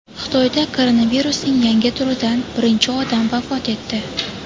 Xitoyda koronavirusning yangi turidan birinchi odam vafot etdi.